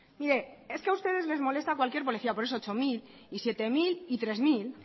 a ustedes les molesta cualquier policía por eso ocho mil siete mil y tres mil